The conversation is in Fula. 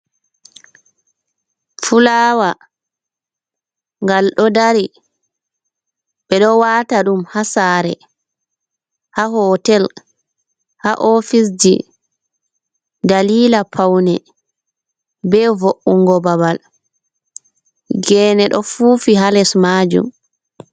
Fulawa gal ɗo dari, ɓe ɗo wata ɗum ha sare, ha hotel, ha ofise ji, dalila paune be vo’’ugo babal, gene ɗo fufi ha les majum.